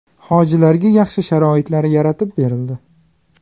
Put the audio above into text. Hojilarga yaxshi sharoitlar yaratib berildi.